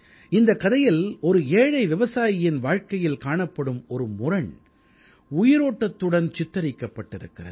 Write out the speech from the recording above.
இந்தக் கதையில் ஒரு ஏழை விவசாயியின் வாழ்க்கையில் காணப்படும் ஒரு முரண் உயிரோட்டத்துடன் சித்தரிக்கப்பட்டிருக்கிறது